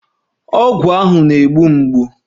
Ọgwụ ahụ na-egbu mgbu